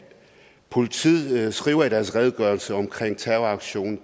politiet skriver i deres redegørelse om terroraktionen